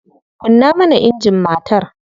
Kunna mana injin matar.